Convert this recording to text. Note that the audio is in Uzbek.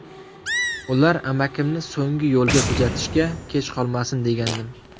Ular amakimni so‘nggi yo‘lga jo‘natishga kech qolmasin degandim.